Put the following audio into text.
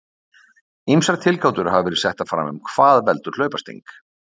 Ýmsar tilgátur hafa verið settar fram um hvað veldur hlaupasting.